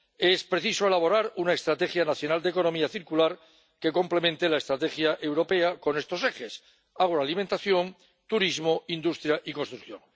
Es preciso elaborar una estrategia nacional de economía circular que complemente la estrategia europea con estos ejes agroalimentación, turismo, industria y construcción.